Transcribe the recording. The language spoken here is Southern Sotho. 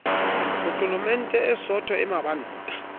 potlolomente e sootho e mabanta